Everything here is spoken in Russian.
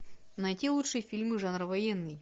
найти лучшие фильмы жанра военный